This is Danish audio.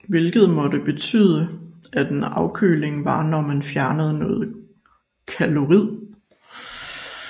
Hvilket måtte betyde at en afkøling var når man fjernede noget Caloric